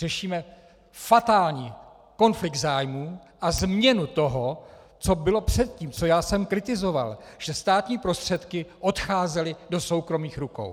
Řešíme fatální konflikt zájmů a změnu toho, co bylo předtím, co já jsem kritizoval, že státní prostředky odcházely do soukromých rukou.